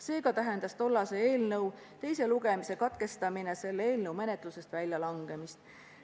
Seega tähendas tollase eelnõu teise lugemise katkestamine eelnõu menetlusest väljalangemist.